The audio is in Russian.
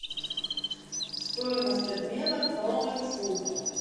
стоимость обмена кроны к фунту